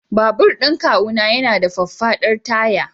Babur kawuna yana da faffadar taya.